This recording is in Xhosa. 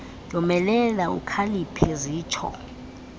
yomelela ukhaliphe zitsho